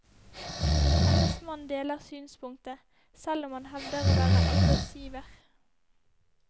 Hennes mann deler synspunktet, selv om han hevder å være arbeidsgiver.